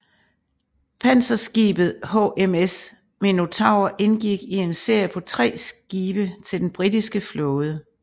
Panserskibet HMS Minotaur indgik i en serie på tre skibe til den britiske flåde